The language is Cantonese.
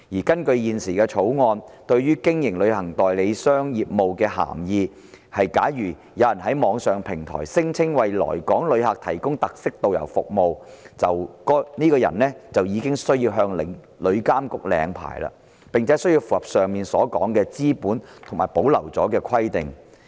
根據現時《條例草案》對於"經營旅行代理商業務"所定的涵義，假如有人在網上平台聲稱為來港旅客提供特色導遊服務，該人便需要向旅監局領牌，並且要符合上述有關"資本"及其他保留條文的規定。